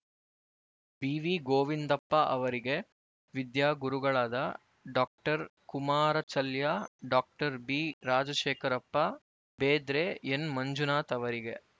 B V Govindappa ಅವರಿಗೆ ವಿದ್ಯಾಗುರುಗಳಾದ doctor Kumarachalya doctor B Rajashekharappa Bedre N Manjunath ಅವರಿಗೆ